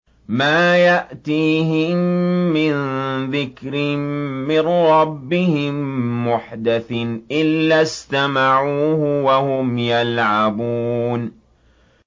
مَا يَأْتِيهِم مِّن ذِكْرٍ مِّن رَّبِّهِم مُّحْدَثٍ إِلَّا اسْتَمَعُوهُ وَهُمْ يَلْعَبُونَ